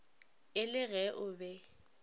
e le ge o be